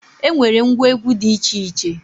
E nwere ngwa egwu dị iche iche